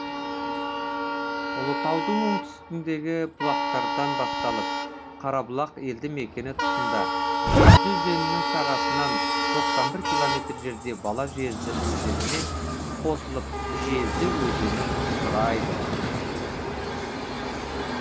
ұлытаудың оңтүстігіндегі бұлақтардан басталып қарабұлақ елді мекені тұсында жезді өзенінің сағасынан тоқсан бір километр жерде бала жезді өзенімен қосылып жезді өзенін құрайды